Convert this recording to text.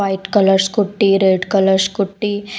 White colour scooty red colour scooty.